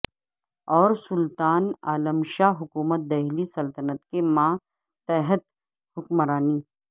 اور سلطان عالم شاہ حکومت دہلی سلطنت کے ماتحت حکمرانی